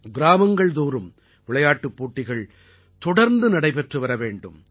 கிராமங்கள் தோறும் விளையாட்டுப் போட்டிகள் தொடர்ந்து நடைபெற்று வரவேண்டும்